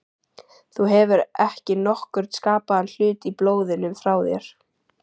Þú hefur ekki nokkurn skapaðan hlut í blóðinu frá mér.